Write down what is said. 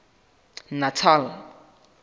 natal